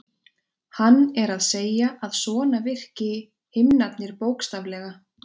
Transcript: Hann er að segja að svona virki himnarnir bókstaflega.